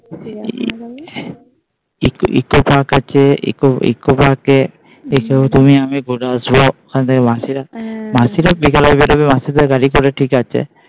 eco park আছে, eco park আছে আমি ঘুরবো আবার মাসিরা বিকালে বেরবে মাসিদের গাড়ি করে ঠিক আছে।